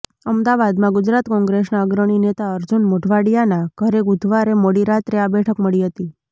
અમદાવાદમાં ગુજરાત કોંગ્રેસના અગ્રણી નેતા અર્જુન મોઢવાડિયાના ઘરે બુધવારે મોડી રાત્રે આ બેઠક મળી હતી